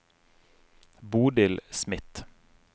Bodil Smith